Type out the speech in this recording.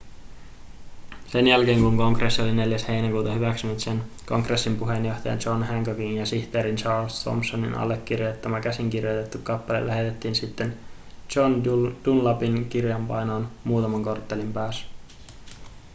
sen jälkeen kun kongressi oli 4 heinäkuuta hyväksynyt sen kongressin puheenjohtajan john hancockin ja sihteerin charles thomsonin allekirjoittama käsinkirjoitettu kappale lähetettiin sitten john dunlapin kirjapainoon muutaman korttelin päässä